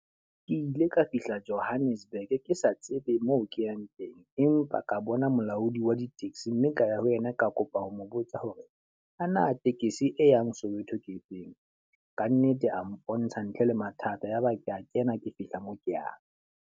Ke ile ka fihla Johannesburg, ke sa tsebe moo ke yang teng. Empa ka bona molaodi wa di-taxi mme ka ya ho yena ka kopa ho mo botsa hore a na tekesi e yang Soweto ke efeng? Ka nnete a mpontsha ntle le mathata, yaba ke a kena ke fihla moo ke yang.